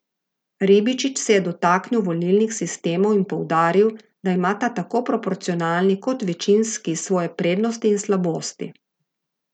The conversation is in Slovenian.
Ribičič se je dotaknil volilnih sistemov in poudaril, da imata tako proporcionalni kot večinski svoje prednosti in slabosti.